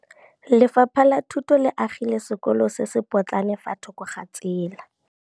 Lefapha la Thuto le agile sekôlô se se pôtlana fa thoko ga tsela.